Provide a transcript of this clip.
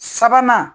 Sabanan